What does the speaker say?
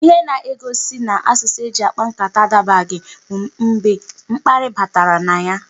Ihe na-egosi n'asụsụ eji kpaa nkata adabaghị bụ mgbe mkparị batara na ya.